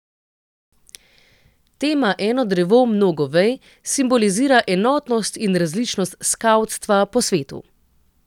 Tema Eno drevo, mnogo vej simbolizira enotnost in različnost skavtstva po svetu.